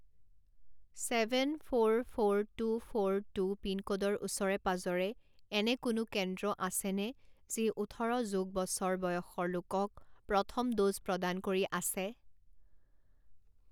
Seven four four two four two পিনক'ডৰ ওচৰে পাঁজৰে এনে কোনো কেন্দ্ৰ আছেনে যি ওঠৰ যোগ বছৰ বয়সৰ লোকক প্ৰথম ড'জ প্ৰদান কৰি আছে?